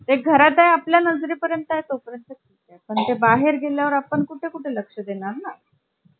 calculater ची कल्पना आली आणि एकोणीसशे बहात्तर साली त्यांनी आपल्या शोध पत्रात यालाच डायनाबुक या नावाने संबोधले. तेव्हापासून खऱ्या अर्थाने laptop बनवण्याच्या क्रियेला वेग आला.